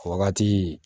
Wagati